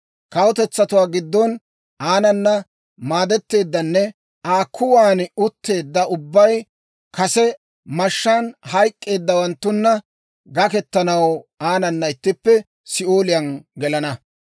Kawutetsatuwaa giddon aanana maadetteedanne Aa kuwan utteedda ubbay kase mashshaan hayk'k'eeddawanttuna gakketanaw aanana ittippe Si'ooliyaan gelana.